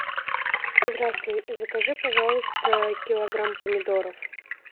здравствуй закажи пожалуйста килограмм помидоров